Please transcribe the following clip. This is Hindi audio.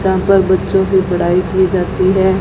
यहां पर बच्चों की पढ़ाई की जाती है।